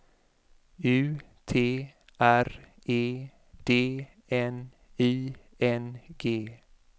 U T R E D N I N G